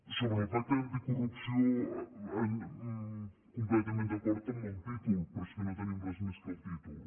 sobre el pacte anticorrupció completament d’acord amb el títol però és que no tenim res més que el títol